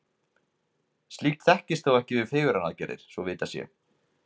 Slíkt þekkist þó ekki við fegrunaraðgerðir, svo vitað sé.